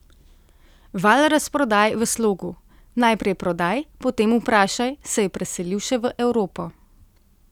Val razprodaj v slogu: 'najprej prodaj, potem vprašaj', se je preselil še v Evropo.